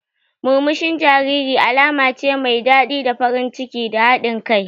Murmushin jariri alama ce mai daɗi da farin ciki da haɗin kai.